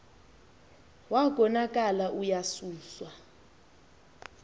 wa konakala uyasuswa